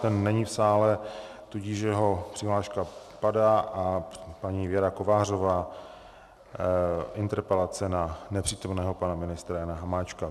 Ten není v sále, tudíž jeho přihláška padá a paní Věra Kovářová, interpelace na nepřítomného pana ministra Jana Hamáčka.